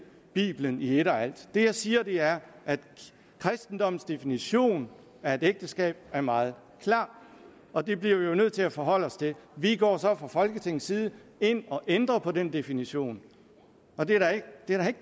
bibelen i et og alt det jeg siger er at kristendommens definition af et ægteskab er meget klar og det bliver vi jo nødt til at forholde os til vi går så fra folketingets side ind og ændrer på den definition og det er da ikke